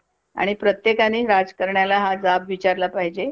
Okay, okay. आणखीन